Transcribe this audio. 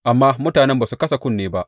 Amma mutanen ba su kasa kunne ba.